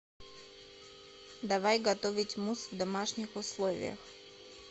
давай готовить мусс в домашних условиях